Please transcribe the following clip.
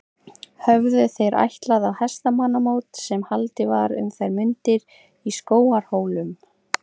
Höfðu þeir ætlað á hestamannamót sem haldið var um þær mundir í Skógarhólum.